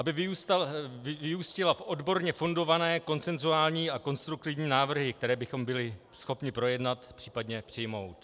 - aby vyústila v odborně fundované konsenzuální a konstruktivní návrhy, které bychom byli schopni projednat, případně přijmout.